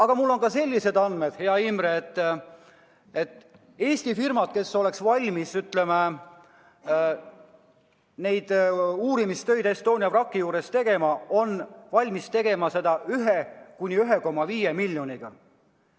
Ja veel on mul sellised andmed, hea Imre, et Eesti firmad, kes oleks valmis neid uurimistöid Estonia vraki juures tegema, on valmis seda tegema 1–1,5 miljoni eest.